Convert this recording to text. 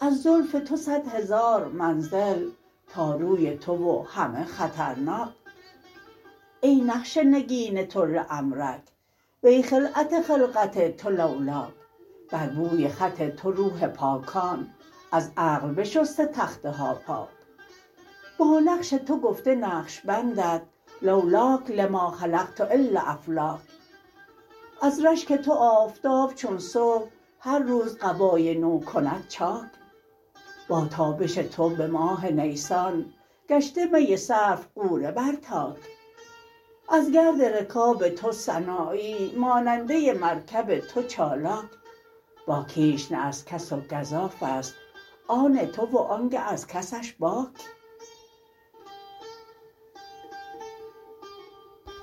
از زلف تو صد هزار منزل تا روی تو و همه خطرناک ای نقش نگین تو لعمرک وی خلعت خلقت تو لولاک بر بوی خط تو روح پاکان از عقل بشسته تخته ها پاک با نقش تو گفته نقش بندت لولاک لما خلقت الا فلاک از رشک تو آفتاب چون صبح هر روز قبای نو کند چاک با تابش تو به ماه نیسان گشته می صرف غوره بر تاک از گرد رکاب تو سنایی ماننده مرکب تو چالاک با کیش نه از کس و گزافست آن تو و آنگه از کسش باک